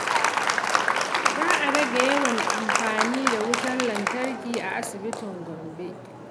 Za a rage yawan amfani da wutar lantarki a asibitin Gombe.